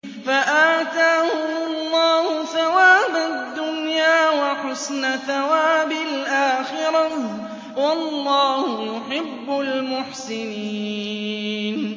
فَآتَاهُمُ اللَّهُ ثَوَابَ الدُّنْيَا وَحُسْنَ ثَوَابِ الْآخِرَةِ ۗ وَاللَّهُ يُحِبُّ الْمُحْسِنِينَ